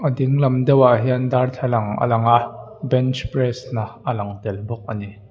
dinglam deuhah hian darthlalang a lang a bench press na a lang tel bawk a ni.